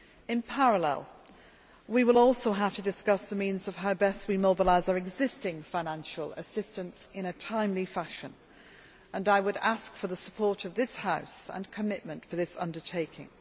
In parallel, we will also have to discuss the means of how best we mobilise our existing financial assistance in a timely fashion, and I would ask for the support of this House and commitment for this undertaking.